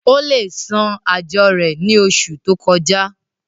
ó le san àjọ rẹ̀ ní oṣù tó kọjá